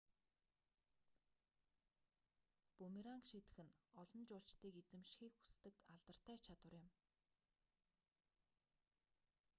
бүүмеранг шийдэх нь олон жуулчдыг эзэмшихийг хүсдэг алдартай чадвар юм